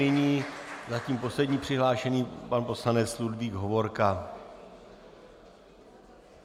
Nyní zatím poslední přihlášený pan poslanec Ludvík Hovorka.